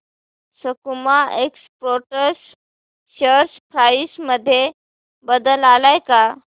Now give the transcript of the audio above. सकुमा exports share price मध्ये बदल आलाय का